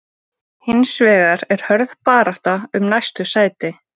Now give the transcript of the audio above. Hins vegar er hörð barátta um næstu sæti.